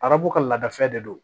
Arabu ka laadafɛ de don